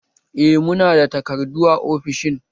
Eh muna da takardu a ofishin